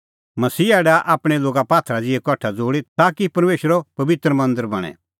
मसीहा डाहा आपणैं लोगा पात्थरा ज़िहै कठा ज़ोल़ी ताकि परमेशरो पबित्र मांदर बणें